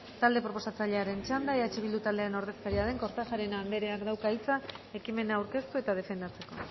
talde proposatzailearen txanda eh bildu taldearen ordezkaria den kortajarena andereak dauka hitza ekimena aurkeztu eta defendatzeko